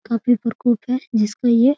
काफ़ी परकोप है जिसका ये --